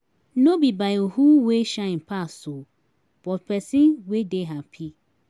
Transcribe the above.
no bi by who wey shine pass um but pesin wey dey hapi